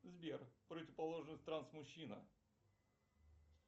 сбер противоположность транс мужчина